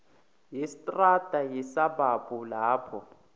yestrada yesabhabhu lapho